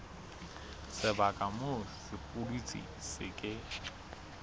sebaka moo sepudutsi se ke